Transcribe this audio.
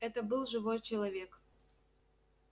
это был живой человек